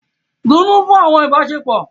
Dunnú fún àwọn ìbáṣepọ̀!